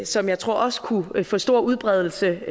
som jeg tror også kunne få stor udbredelse